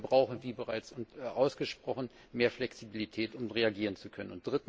Wir brauchen, wie bereits ausgesprochen, mehr Flexibilität, um reagieren zu können.